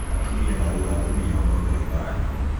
atumia marauga athuri aao no njoohi maranyua